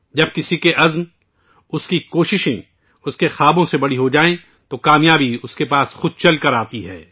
جب کسی کا عزم، اس کی کوشش ، اس کے خوابوں سے بھی بڑے ہو جاتے ہیں تو کامیابی ، اُس کے پاس خود چل کر آتی ہے